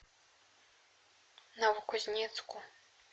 новокузнецку